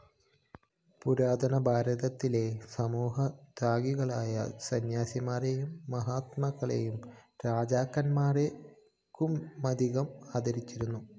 പുരാതന ഭാരതത്തിലെ സമൂഹം ത്യാഗികളായ സന്യാസിമാരെയും മഹാത്മാക്കളെയും രാജാക്കന്മാരെക്കാളുമധികം ആദരിച്ചിരുന്നു